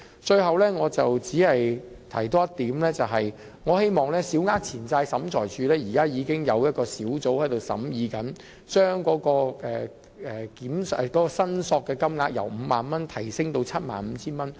最後，我只是多提一點，也就是小額錢債審裁處現時已經有小組正在審議，將申索限額由 50,000 元提升至 75,000 元。